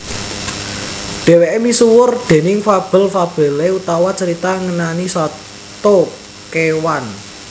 Dhèwèké misuwur déning fabel fabelé utawa carita ngenani sato kéwan